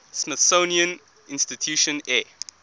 smithsonian institution air